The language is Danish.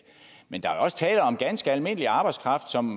men der er jo også tale om ganske almindelig arbejdskraft som